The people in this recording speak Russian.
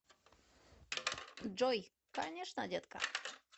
джой конечно детка